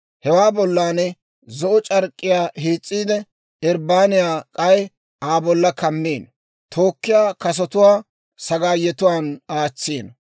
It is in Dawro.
Hewaa bollan zo'o c'ark'k'iyaa hiis's'iide, irbbaniyaa k'ay Aa bolla kammino; tookkiyaa kasotuwaa sagaayetuwaan aatsino.